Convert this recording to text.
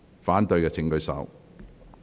反對的請舉手。